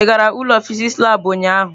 Ị gara ụlọ fịsịsị labụ ụnyahụ?